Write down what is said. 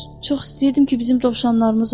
Çox istəyirdim ki, bizim dovşanlarımız olsun.